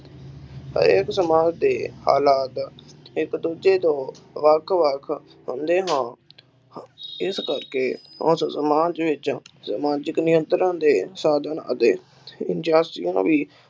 ਹਰ ਇਕ ਸਮਾਜ ਦੇ ਹਲਾਤ ਇਕ ਦੂਜੇ ਤੋਂ ਵੱਖ ਵੱਖ ਹੁੰਦੇ ਹਨ ਇਸ ਕਰਕੇ ਉਸ ਸਮਾਜ ਵਿਚ ਸਮਾਜਿਕ ਨਿਯੰਤ੍ਰਾ ਦੇ ਸਾਧਨ ਅਤੇ ਵੀ